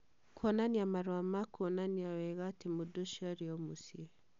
Kuonania marũa ma kuonania wega atĩ mũndũ ũcio arĩ o mũciĩ. .